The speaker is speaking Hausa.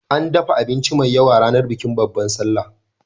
An dafa abinci mai yawa ranar bikin Babbar Sallah